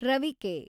ರವಿಕೆ